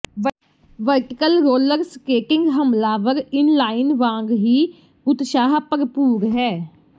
vertical roller skating ਹਮਲਾਵਰ inline ਵਾਂਗ ਹੀ ਉਤਸ਼ਾਹ ਭਰਪੂਰ ਹੈ